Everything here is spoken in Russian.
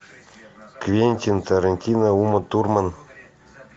квентин тарантино ума турман